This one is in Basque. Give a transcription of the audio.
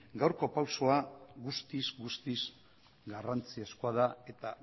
gaurko pausua guztiz guztiz garrantzizkoa da eta